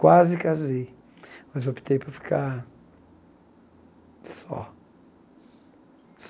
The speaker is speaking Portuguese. Quase casei, mas optei por ficar só.